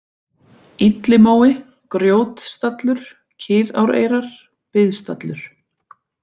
Illimói, Grjótstallur, Kiðáreyrar, Biðstallur